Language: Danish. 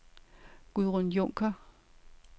Gudrun Junker